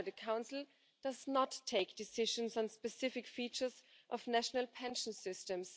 However, the Council does not take decisions on specific features of national pension systems.